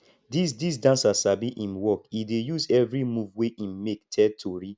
dis dis dancer sabi im work e dey use every move wey im make tell tori